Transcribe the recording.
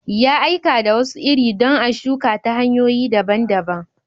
Ya aika da wasu iri don a shuka ta hanyoyi daban-daban.